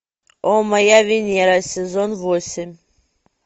о моя венера сезон восемь